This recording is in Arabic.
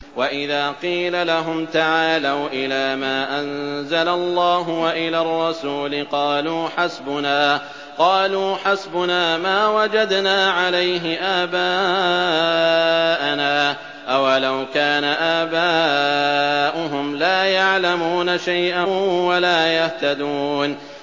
وَإِذَا قِيلَ لَهُمْ تَعَالَوْا إِلَىٰ مَا أَنزَلَ اللَّهُ وَإِلَى الرَّسُولِ قَالُوا حَسْبُنَا مَا وَجَدْنَا عَلَيْهِ آبَاءَنَا ۚ أَوَلَوْ كَانَ آبَاؤُهُمْ لَا يَعْلَمُونَ شَيْئًا وَلَا يَهْتَدُونَ